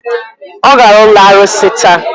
Ọ gara ụlọ arụsị taa.